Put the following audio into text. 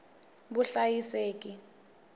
vuhlayiseki